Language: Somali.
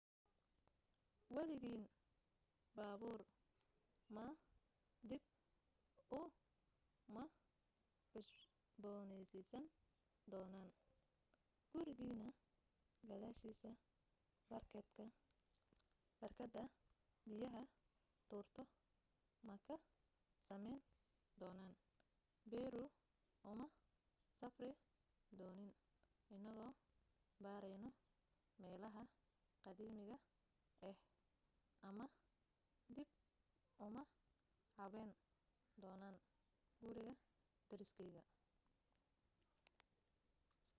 waligeen baabuur ma dib u ma cusbooneysiin doonin gurigeena gadaashiisa barkadda biyaha tuurto ma ka samayn doonin peru uma safri doonin inagoo baarayno meelaha qadiimiga ah ama dib uma habayn doonin guriga deriskeyga